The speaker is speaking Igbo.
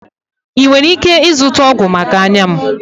Ị nwere ike ịzụta ọgwụ maka anya m?